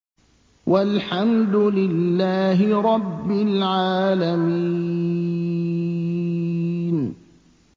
وَالْحَمْدُ لِلَّهِ رَبِّ الْعَالَمِينَ